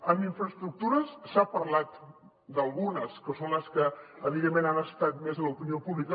en infraestructures s’ha parlat d’algunes que són les que evidentment han estat més a l’opinió pública